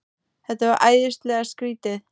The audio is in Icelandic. Þetta var æðislega skrýtið.